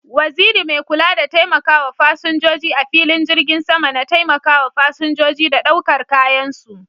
Waziri mai kula da taimakawa fasinjoji a filin jirgin sama na taimakawa fasinjoji da ɗaukar kayan su.